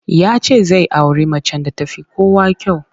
Ya ce zai auri macen da ta fi kowa kyau.